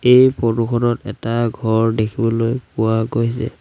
এই ফটো খনত এটা ঘৰ দেখিবলৈ পোৱা গৈছে।